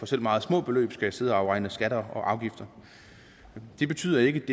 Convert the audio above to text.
selv meget små beløb skal sidde og afregne skatter og afgifter det betyder ikke